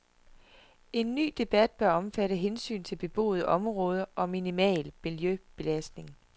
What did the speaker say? En ny debat bør omfatte hensyn til beboede områder og minimal miljøbelastning.